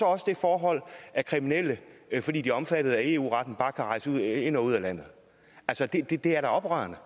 også det forhold at kriminelle fordi de er omfattet af eu retten bare kan rejse ind og ud af landet det det er da oprørende